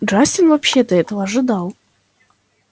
джастин вообще-то этого ожидал